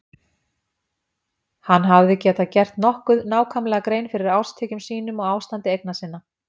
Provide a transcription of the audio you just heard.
Hann hafði getað gert nokkuð nákvæmlega grein fyrir árstekjum sínum og ástandi eigna sinna.